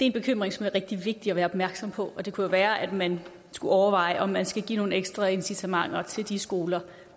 en bekymring som er rigtig vigtig at være opmærksom på og det kunne være at man skulle overveje om man skulle give nogle ekstra incitamenter til de skoler